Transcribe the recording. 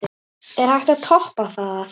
Er hægt að toppa það?